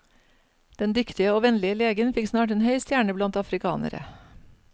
Den dyktige og vennlige legen fikk snart en høy stjerne blant afrikanere.